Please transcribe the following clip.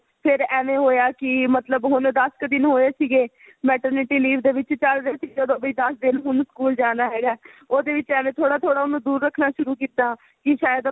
ਫ਼ਿਰ ਐਵੇ ਹੋਇਆ ਸੀ ਮਤਲਬ ਹੁਣ ਦੱਸ ਕ ਦਿਨ ਹੋਏ ਸੀਗੇ maternity leave ਦੇ ਵਿੱਚ ਚੱਲ ਰਿਹੇ ਸੀ ਜਦੋ ਦੱਸ ਦਿਨ ਹੁਣ ਸਕੂਲ ਜਾਣਾ ਹੈਗਾ ਉਹਦੇ ਵਿੱਚ ਐਵੇ ਥੋੜਾ ਥੋੜਾ ਉਹਨੂੰ ਦੂਰ ਰੱਖਣਾ ਸ਼ੁਰੂ ਕੀਤਾ ਕੀ ਸ਼ਾਇਦ ਆਪਣੇ